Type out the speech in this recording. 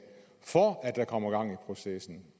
for at der kommer gang i processen